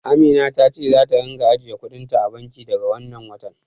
Amina ta ce zata ringa ajiye kuɗin ta a banki daga wannan watan.